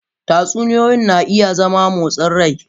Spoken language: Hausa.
Tatsuniyoyi na iya zama motsin rai.